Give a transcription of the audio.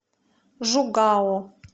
жугао